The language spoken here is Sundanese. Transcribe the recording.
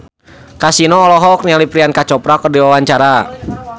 Kasino olohok ningali Priyanka Chopra keur diwawancara